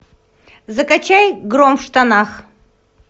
закачай гром в штанах